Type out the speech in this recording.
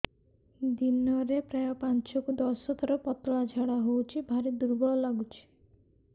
ଦିନରେ ପ୍ରାୟ ପାଞ୍ଚରୁ ଦଶ ଥର ପତଳା ଝାଡା ହଉଚି ଭାରି ଦୁର୍ବଳ ଲାଗୁଚି